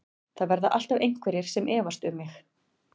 Það verða alltaf einhverjir sem efast um mig.